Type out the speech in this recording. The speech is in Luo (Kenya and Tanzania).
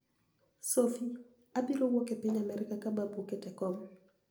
Sophy: Abiro wuok e piniy Amerka ka Babu oket e kom